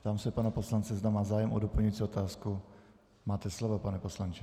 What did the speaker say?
Ptám se pana poslance, zda má zájem o doplňující otázku, Máte slovo, pane poslanče.